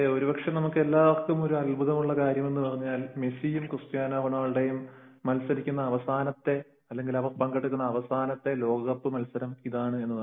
അതെ ഒരുപക്ഷെ നമുക്ക് എല്ലാര്ക്കും വളരെ അത്ഭുതമുള്ള കാര്യമെന്ന് പറഞ്ഞാൽ മെസ്സിയും ക്രിസ്ത്യാനോ റൊണാൾഡോയും അല്ലെങ്കിൽ പങ്കെടുക്കുന്ന അവസാനത്തെ ലോക കപ്പ് എന്നതാണ്